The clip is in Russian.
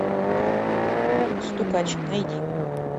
стукач найди